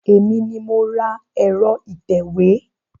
Èmi ni mo ra ẹ̀rọ ìtẹ̀wé.